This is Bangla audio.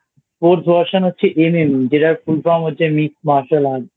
Sports Version হচ্ছে MMA যেটার Full Form হচ্ছে Mix Martial Arts